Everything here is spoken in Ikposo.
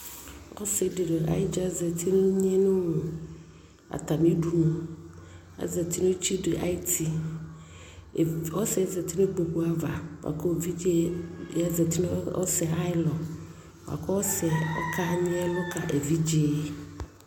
Ɔsi dι la ayi dza zati ni nye li ata mi du nu Azati ni tsu dι ayʋ tiƆsi yɛ zati nu kpoku avuKu evidze yɛ zati nu ɔsi ayɛ luAkɔ ɔsi yɛ ɔka nyi ɛlu kɛ evidze yɛ